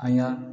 An ka